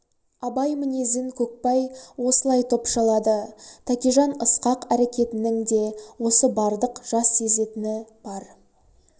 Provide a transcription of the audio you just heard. абай мінезін көкбай осылай топшылады тәкежан ысқақ әрекетінің де осы бардық жас сезетіні бар